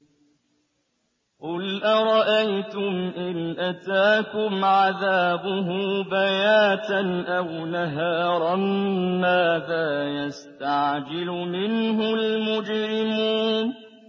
قُلْ أَرَأَيْتُمْ إِنْ أَتَاكُمْ عَذَابُهُ بَيَاتًا أَوْ نَهَارًا مَّاذَا يَسْتَعْجِلُ مِنْهُ الْمُجْرِمُونَ